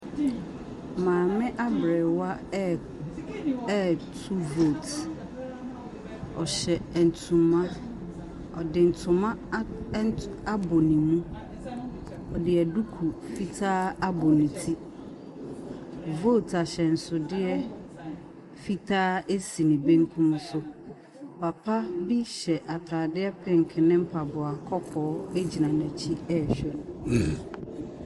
Maame aberewa ɛɛ ɛɛ ɛreto vote. Ɔhyɛ ntoma. Ɔde ntoma a nt abɔ ne mu. Ɔde duku fitaa abɔ ne ti. Vote ahyɛnsodeɛ fitaa si ne benkum so. Papa bi hyɛ atadeɛ pink ne mpaboɔ kɔkɔɔ gyina n'akyi rehwɛ no.